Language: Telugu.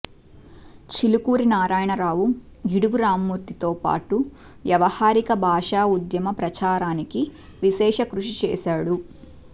చిలుకూరి నారాయణరావు గిడుగు రామ్మూర్తితో పాటు వ్యావహారిక భాషా ఉద్యమ ప్రచారానికి విశేష కృషి చేశాడు